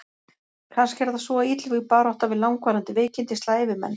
Kannski er það svo að illvíg barátta við langvarandi veikindi slævi menn.